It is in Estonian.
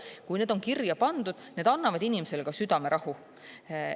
Kui need on kirja pandud, need annavad inimesele südamerahu.